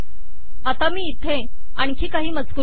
आता मी इथे आणखी काही मजकूर घालते